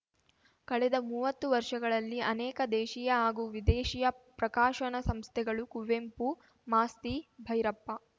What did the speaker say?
ಕಳೆದ ಮೂವತ್ತು ವರ್ಷಗಳಲ್ಲಿ ಅನೇಕ ದೇಶೀಯ ಹಾಗೂ ವಿದೇಶಿಯ ಪ್ರಕಾಶನ ಸಂಸ್ಥೆಗಳು ಕುವೆಂಪು ಮಾಸ್ತಿ ಭೈರಪ್ಪ